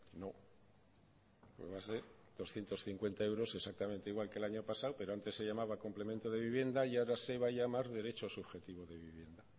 no va a ser doscientos cincuenta euros exactamente igual que el año pasado pero antes se llamaba complemento de vivienda y ahora se va a llamar derecho subjetivo de vivienda